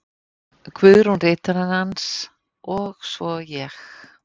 Guðrún ritarinn hans, og svo ég.